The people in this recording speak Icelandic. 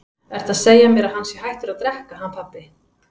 Ertu að segja mér að hann sé hættur að drekka hann pabbi?